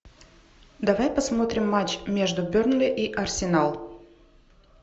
давай посмотрим матч между бернли и арсенал